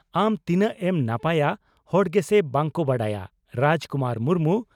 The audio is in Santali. ᱟᱢ ᱛᱤᱱᱟᱹᱜ ᱮᱢ ᱱᱟᱯᱟᱭᱟ ᱦᱚᱲ ᱜᱮᱥᱮ ᱵᱟᱝ ᱠᱚ ᱵᱟᱰᱟᱭᱟ (ᱨᱟᱡᱽ ᱠᱩᱢᱟᱨ ᱢᱩᱨᱢᱩ)